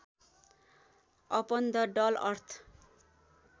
upon the dull earth